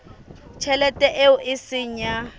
tjhelete eo e seng ya